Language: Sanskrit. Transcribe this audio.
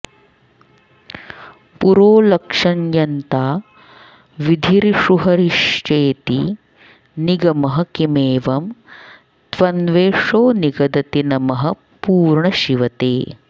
पुरोलक्ष्यं यन्ता विधिरिषुहरिश्चेति निगमः किमेवं त्वन्वेष्यो निगदति नमः पूर्ण शिव ते